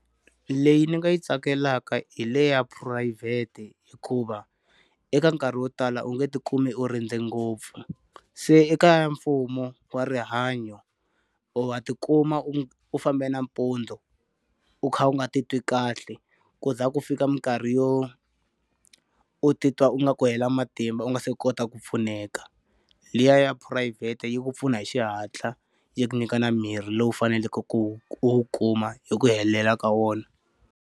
Leyi ni nga yi tsakelaka hi le ya phurayivhete hikuva, eka nkarhi wo tala u nge ti kumbe u rindze ngopfu. Se eka ya mfumo wa rihanyo wa ti kuma u u famba nampundzu, u kha u nga titwi kahle ku za ku fika minkarhi yo u titwa ingaku u hela matimba u nga se kota ku pfuneka. Liya ya phurayivhete yi ku pfuna hi xihatla, yi nyika na mirhi lowu faneleke ku wu ku wu kuma hi ku hela ka wona.